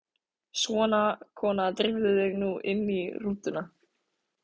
Svona, kona, drífðu þig nú inn í rútuna